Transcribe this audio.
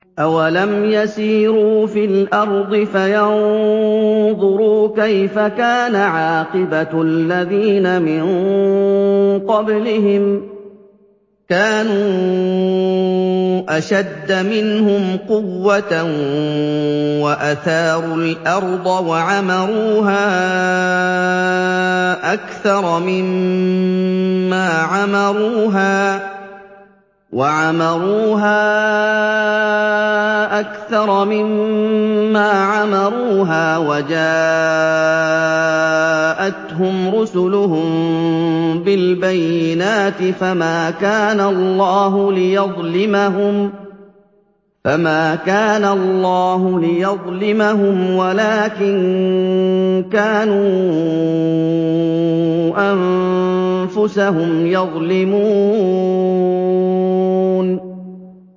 أَوَلَمْ يَسِيرُوا فِي الْأَرْضِ فَيَنظُرُوا كَيْفَ كَانَ عَاقِبَةُ الَّذِينَ مِن قَبْلِهِمْ ۚ كَانُوا أَشَدَّ مِنْهُمْ قُوَّةً وَأَثَارُوا الْأَرْضَ وَعَمَرُوهَا أَكْثَرَ مِمَّا عَمَرُوهَا وَجَاءَتْهُمْ رُسُلُهُم بِالْبَيِّنَاتِ ۖ فَمَا كَانَ اللَّهُ لِيَظْلِمَهُمْ وَلَٰكِن كَانُوا أَنفُسَهُمْ يَظْلِمُونَ